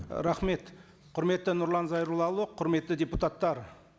рахмет құрметті нұрлан зайроллаұлы құрметті депутаттар